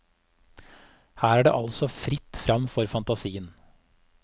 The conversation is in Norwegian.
Her er det altså fritt fram for fantasien.